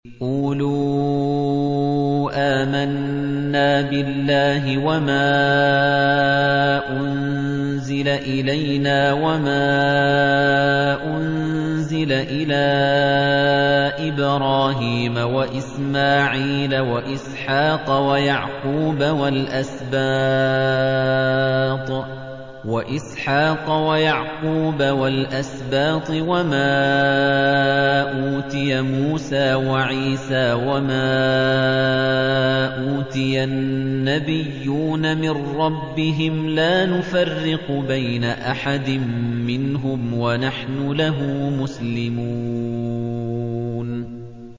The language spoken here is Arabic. قُولُوا آمَنَّا بِاللَّهِ وَمَا أُنزِلَ إِلَيْنَا وَمَا أُنزِلَ إِلَىٰ إِبْرَاهِيمَ وَإِسْمَاعِيلَ وَإِسْحَاقَ وَيَعْقُوبَ وَالْأَسْبَاطِ وَمَا أُوتِيَ مُوسَىٰ وَعِيسَىٰ وَمَا أُوتِيَ النَّبِيُّونَ مِن رَّبِّهِمْ لَا نُفَرِّقُ بَيْنَ أَحَدٍ مِّنْهُمْ وَنَحْنُ لَهُ مُسْلِمُونَ